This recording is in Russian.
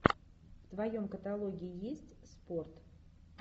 в твоем каталоге есть спорт